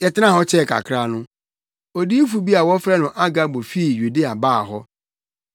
Yɛtenaa hɔ kyɛɛ kakra no, odiyifo bi a wɔfrɛ no Agabo fii Yudea baa hɔ.